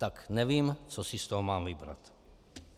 Tak nevím, co si z toho mám vybrat.